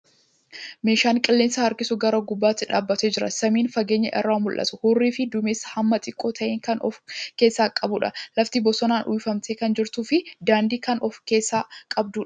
Meeshaan qilleensa harkisu gaara gubbaatti dhaabbatee jira. Samiin fageenya irraa mul'atu, hurrii fi dumeessa hammaan xiqqoo ta'e kan of keessaa qabuudha. Lafti bosonaan uwwifamtee kan jirtuu fi daandii kan of keessaa qabduudha.